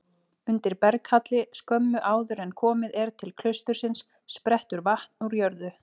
Undir berghalli skömmu áður en komið er til klaustursins sprettur vatn úr jörðu.